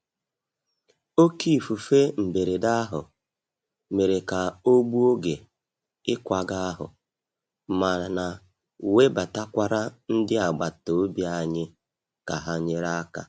Oké ifufe mberede ahụ mere ka ọ gbuo oge ịkwaga ahụ, mana webatakwara ndị agbata obi anyị ka ha nyere aka.